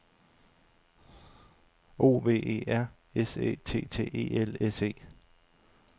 O V E R S Æ T T E L S E